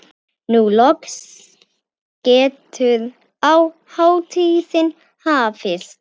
Nú loks getur hátíðin hafist.